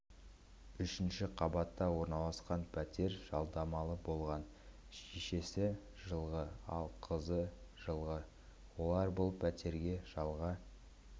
үшінші қабатта орналасқан пәтер жалдамалы болған шешесі жылғы ал қызы жылғы олар бұл пәтерге жалға